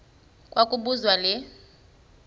kwa kobuzwa le